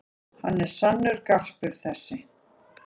Hann er sannur garpur þessi.